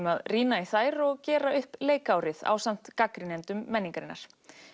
að rýna í þær og gera upp leikárið ásamt gagnrýnendum menningarinnar